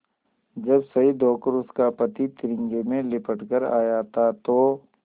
जब शहीद होकर उसका पति तिरंगे में लिपट कर आया था तो